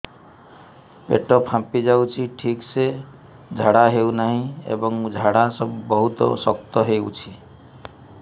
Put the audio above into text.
ପେଟ ଫାମ୍ପି ଯାଉଛି ଠିକ ସେ ଝାଡା ହେଉନାହିଁ ଏବଂ ଝାଡା ବହୁତ ଶକ୍ତ ହେଉଛି